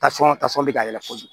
Tasɔn tasɔn bɛ ka yɛlɛ kojugu